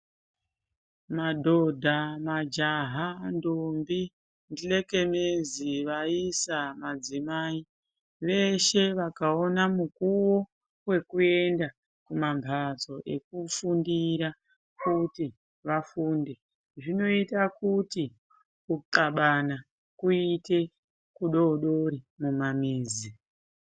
Madhodha , vaisa, ndombi ,majaha, nhlekemezi, madzimai veshe vakaona mukuwo wekuenda kumamhatso ekufundira eikuti vafunde zvinoita kuti kunxlabana kuite kudodori mumamizi.